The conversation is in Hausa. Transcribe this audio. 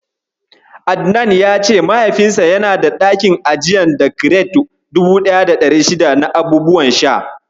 Adnan ya ce Mahaifinsa yana da ɗakin ajiya da kiret 1600 na abubuwan sha.